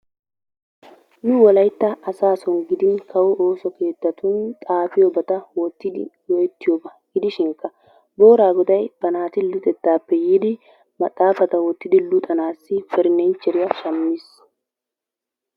Nu wollaytta asaa giddon giidin kawo ooso keettatun xaapiyoobata woottidi goo"etiyooba. Gidishinkka booraagoday ba naati luxxetta keettappe yiidi maxaafata woottidi luxxanawu maaddiyaa perenicheriyaa shaammiis.